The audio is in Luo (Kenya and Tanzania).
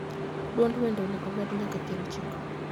duond wende onego omed nyaka pier ochiko